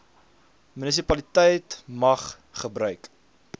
munisipaliteit mag gebruik